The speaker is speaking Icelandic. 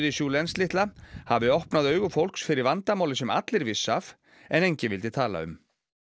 Julens litla hafi opnað augu fólks fyrir vandamáli sem allir vissu af en enginn vildi tala um